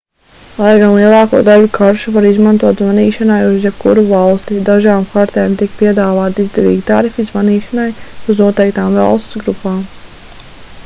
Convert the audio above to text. lai gan lielāko daļu karšu var izmantot zvanīšanai uz jebkuru valsti dažām kartēm tiek piedāvāti izdevīgi tarifi zvanīšanai uz noteiktām valstu grupām